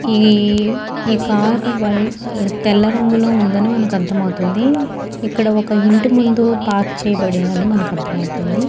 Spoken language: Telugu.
ఈ కార్ వైట్ తెల్ల రంగు లో ఉంది అని మనకి అర్ధం అవుతుంది. ఇక్క్కడ ఒక ఇంటి ముందూ పార్క్ చేయబడింది అని మనకి అర్ధం అవుతుంది.